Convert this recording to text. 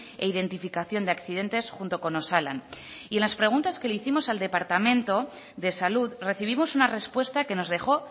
e identificación de accidentes junto con osalan y en las preguntas que le hicimos al departamento de salud recibimos una respuesta que nos dejó